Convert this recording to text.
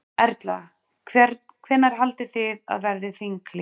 Erla: Hvenær haldið þið að verði þinghlé?